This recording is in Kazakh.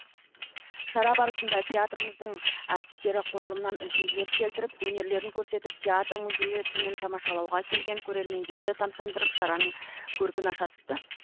шара барысында театрымыздың әртістері қойылымнан үзінділер келтіріп өнерлерін көрсетіп театр музейі түнін тамашалауға келген көрермендерді тамсандырып шараның көркін аша түсті